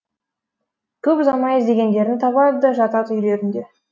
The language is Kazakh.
көп ұзамай іздегендерін табады да жатады үйлерінде